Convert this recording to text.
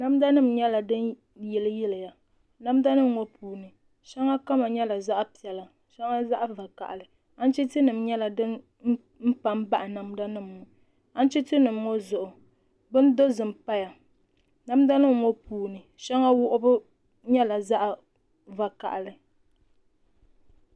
Namda nim nyɛla din yiliyili ya namda nim ŋɔ puuni shɛŋa kama nyɛla zaɣ piɛla shɛŋa zaɣ vakaɣali anchiti nim nyɛla din pa n baɣa namda nim ŋɔ anchiti nim ŋɔ zuɣu bin dozim paya namda nim ŋɔ puuni shɛŋa wuɣubu nyɛla zaɣ vakaɣali